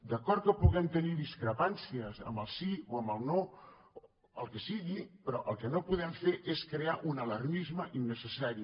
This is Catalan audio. d’acord que puguem tenir discrepàncies amb el sí o amb el no el que sigui però el que no podem fer és crear un alarmisme innecessari